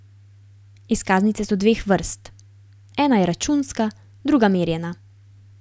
Izkaznice so dveh vrst, ena je računska, druga merjena.